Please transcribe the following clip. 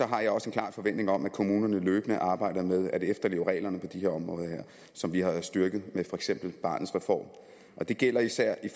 har jeg også en klar forventning om at kommunerne løbende arbejder med at efterleve reglerne på de her områder som vi har styrket med for eksempel barnets reform og det gælder især i